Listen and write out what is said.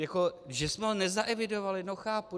Jako že jsme ho nezaevidovali, no chápu.